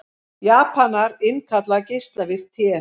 Japanar innkalla geislavirkt te